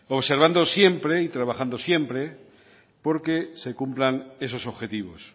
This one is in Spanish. observando siempre y trabajando siempre porque se cumplan esos objetivos